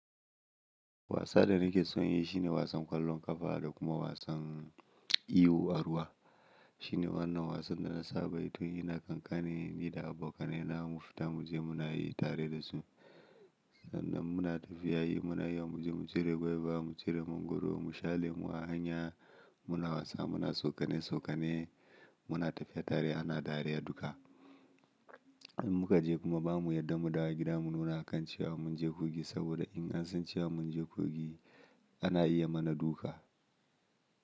Wasan da nake son yi shine wasan ƙwallon ƙafa da kuma wasan iwo a ruwa. Shine wannan wasan da na saba yi tun ina ƙanƙani ni da abokanaina mufita muje muna yi tare da su. Sannan muna tafiya yi muna iya muje mu cire gwaiba, mu cire mangwaro, mu sha lemu a hanya. Muna wasa muna saukane saukane, muna tafiya tare ana dariya duka. In muka je kuma bamu yarda mu dawo gida muna nuna akan cewa munje kogi saboda in an san cewa munje kogi ana iya mana duka.